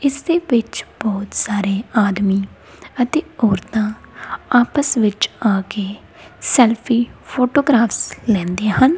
ਇਸਦੇ ਵਿੱਚ ਬੋਹੁਤ ਸਾਰੇ ਆਦਮੀ ਅਤੇ ਔਰਤਾਂ ਆਪਸ ਵਿੱਚ ਆ ਕੇ ਸੈਲਫੀ ਫੋਟੋਗਰਾਫ਼ਸ ਲੈਂਦੇ ਹਨ।